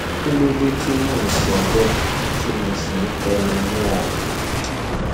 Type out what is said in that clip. kí ló dé tí mò ń sọ bẹẹ tí mo sì ń tẹnu mọ ọn